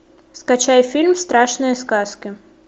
скачай фильм страшные сказки